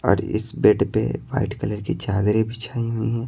और इस बेड पे वाइट कलर की चादरें बिछाई हुई हैं।